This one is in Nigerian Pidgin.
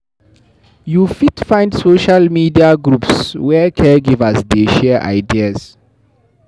You fit find social media groups where caregivers dey share ideas.